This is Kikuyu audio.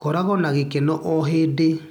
korago na gĩkeno o hĩndĩ.